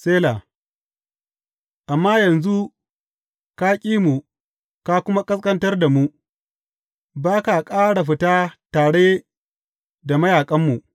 Sela Amma yanzu ka ƙi mu ka kuma ƙasƙantar da mu; ba ka ƙara fita tare da mayaƙanmu.